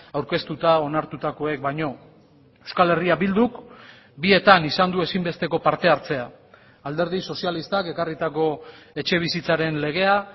aurkeztuta onartutakoek baino euskal herria bilduk bietan izan du ezinbesteko parte hartzea alderdi sozialistak ekarritako etxebizitzaren legea